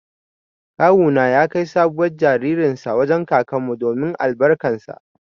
Kawu na ya kai sabuwar jaririn sa wajen kakan mu domin albarkan sa.